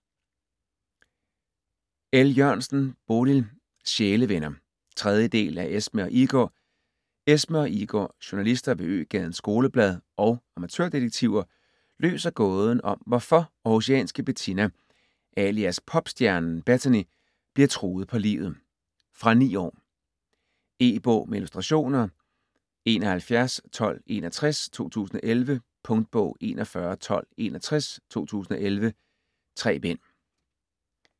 El Jørgensen, Bodil: Sjælevenner 3. del af Esme og Igor. Esme og Igor, journalister ved Øgadens Skoleblad og amatørdetektiver, løser gåden om hvorfor århusianske Bettina alias popstjernen Bettany bliver truet på livet. Fra 9 år. E-bog med illustrationer 711261 2011. Punktbog 411261 2011. 3 bind.